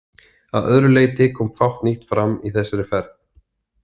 Að öðru leyti kom fátt nýtt fram í þessari ferð.